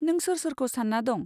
नों सोर सोरखौ सान्ना दं?